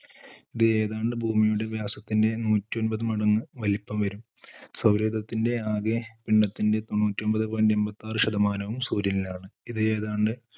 ഇത് ഏതാണ്ട് ഭൂമിയുടെ വ്യാസത്തിന്റെ നൂറ്റിഒൻപത് മടങ്ങ് വലിപ്പം വരും. സൗരയൂഥത്തിന്റെ ആകെ പിണ്ഡത്തിന്റെ തൊണ്ണൂറ്റിഒൻപത് point എണ്പത്തിയാറ് ശതമാനവും സൂര്യനിലാണ്. ഇത് ഏതാണ്ട്,